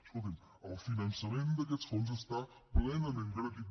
escolti’m el finançament d’aquests fons està plenament garantit